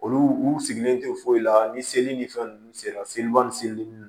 Olu u sigilen tɛ foyi la ni seli ni fɛn ninnu sera seliw ni seli ninnu